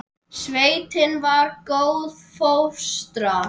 Sveitin var góð fóstra.